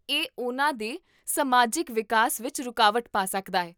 ਇਹ ਉਹਨਾਂ ਦੇ ਸਮਾਜਿਕ ਵਿਕਾਸ ਵਿੱਚ ਰੁਕਾਵਟ ਪਾ ਸਕਦਾ ਹੈ